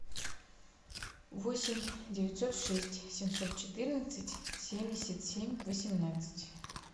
восемь девятьсот шесть семьсот четырнадцать семьдесят семь восемнадцать